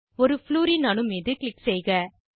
ஒரு ப்ளூரின் அணு மீது க்ளிக் செய்க